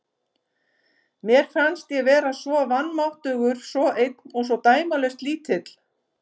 Mér fannst ég vera svo vanmáttugur, svo einn og svo dæmalaust lítill.